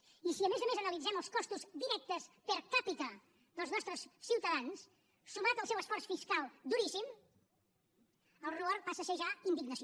i si a més a més analitzem els costos directes per capita dels nostres ciutadans sumat al seu esforç fiscal duríssim el rubor passa a ser ja indignació